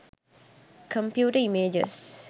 computer images